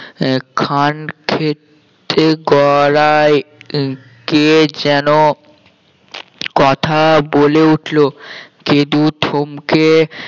আহ খান ক্ষেত্রের গলায় কে যেন কথা বলে উঠলো গেদু ধমকে